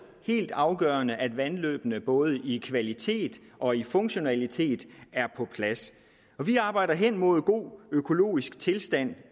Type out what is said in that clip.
helt afgørende at vandløbene både i kvalitet og i funktionalitet er på plads vi arbejder hen mod en god økologisk tilstand